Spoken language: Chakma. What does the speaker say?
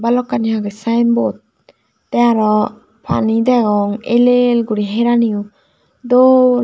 balokkani agey sayenbod te arow pani degong el el guri heraniyo dol.